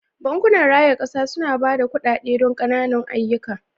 Bankunan raya kasa suna ba da kuɗaɗe don ƙananan ayyuka.